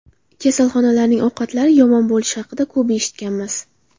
Kasalxonalarning ovqatlari yomon bo‘lishi haqida ko‘p eshitganmiz.